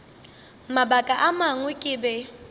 mabaka a mangwe ke be